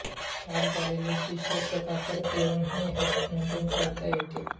ताठ झालेले शिश्न चक्राकार फिरवून ही हस्तमैथुन करता येते